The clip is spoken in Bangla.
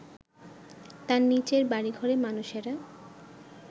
তার নিচের বাড়িঘরে মানুষেরা